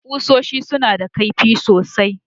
Kusoshi suna da kaifi sosai.